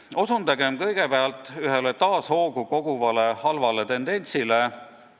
Ma osutan kõigepealt ühele taas süvenema hakanud halvale tendentsile.